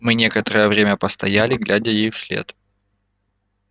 мы некоторое время постояли глядя ей вслед